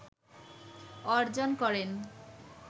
অর্জন করেন